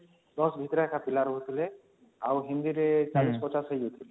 ୧୦ ଭିତରେ ପିଲା ରହୁଥିଲେ ଆଉ Hindi ରେ ୪୦ ୫୦ ହେଇଯାଇଥିବେ